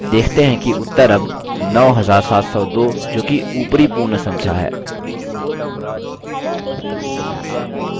आप देखते हैं कि उत्तर अब 9702 जोकि ऊपरी पूर्ण संख्या है